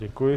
Děkuji.